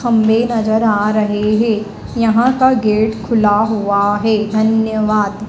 खम्भे नजर आ रहे हैं यहां का गेट खुला हुआ है धन्यवाद।